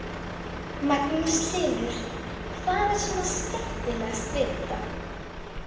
Magnús Hlynur: Hvað er svona skemmtilegast við þetta?